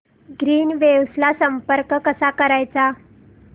Greenwaves ला संपर्क कसा करायचा